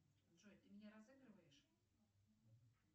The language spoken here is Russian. джой ты меня разыгрываешь